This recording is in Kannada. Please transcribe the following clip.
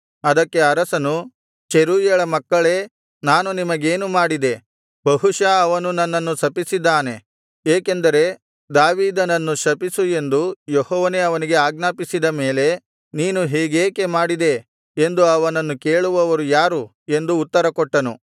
ಅದಕ್ಕೆ ಅರಸನು ಚೆರೂಯಳ ಮಕ್ಕಳೇ ನಾನು ನಿಮಗೇನು ಮಾಡಿದೆ ಬಹುಶಃ ಅವನು ನನ್ನನ್ನು ಶಪಿಸಿದ್ದಾನೆ ಏಕೆಂದರೆ ದಾವೀದನನ್ನು ಶಪಿಸು ಎಂದು ಯೆಹೋವನೇ ಅವನಿಗೆ ಆಜ್ಞಾಪಿಸಿದ ಮೇಲೆ ನೀನು ಹೀಗೇಕೆ ಮಾಡಿದಿ ಎಂದು ಅವನನ್ನು ಕೇಳುವವರು ಯಾರು ಎಂದು ಉತ್ತರ ಕೊಟ್ಟನು